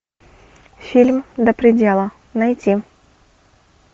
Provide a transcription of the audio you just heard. фильм до предела найти